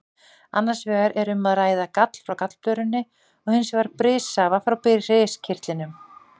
Annars vegar er um að ræða gall frá gallblöðrunni og hins vegar brissafa frá briskirtlinum.